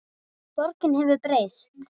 Borgin hefur breyst.